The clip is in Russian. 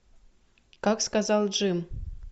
как сказал джим